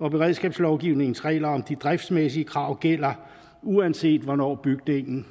beredskabslovgivningens regler om de driftsmæssige krav gælder uanset hvornår bygningen